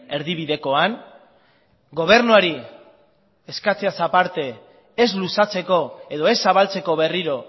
erdibidekoan gobernuari eskatzeaz aparte ez luzatzeko edo ez zabaltzeko berriro